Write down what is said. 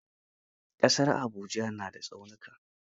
Ƙasar Abuja na da tsaunuka.